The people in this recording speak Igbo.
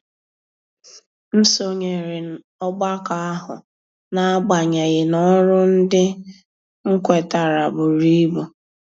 M sonyere ọgbakọ ahụ n'agbanyeghị na ọrụ ndị m kwetara buru ibu.